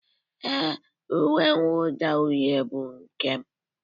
Ee, uwe mwụda uhie bụ nke m